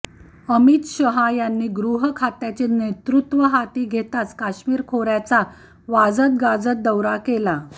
अमित शहा यांनी गृहखात्याचे नेतृत्व हाती घेताच कश्मीर खोर्याचा वाजतगाजत दौरा केला